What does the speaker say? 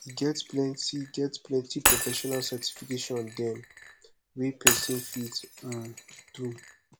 e get plenty get plenty profesional certification dem wey person fit um do